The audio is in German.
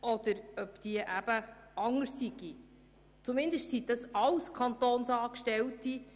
Auch dort arbeiten Kantonsangestellte;